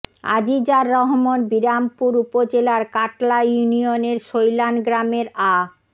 আজিজার রহমান বিরামপুর উপজেলার কাটলা ইউনিয়নের শৈলান গ্রামের আ